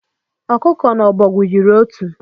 Ọkụkọ na ọbọgwụ yiri otu